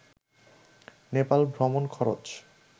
নেপাল ভ্রমণ খরচ